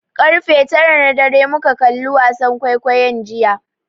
Ƙarfe tara na dare muka kalli wasan kwaikwayon jiya.